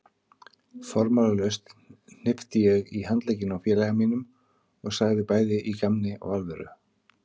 Formálalaust hnippti ég í handlegginn á félaga mínum og sagði bæði í gamni og alvöru